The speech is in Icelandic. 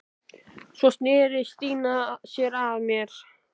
Svo sneri Stína sér að mér.